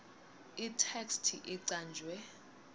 itheksthi icanjwe